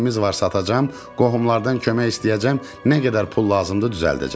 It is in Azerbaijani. Nəyimiz varsa satacam, qohumlardan kömək istəyəcəm, nə qədər pul lazımdır düzəldəcəm.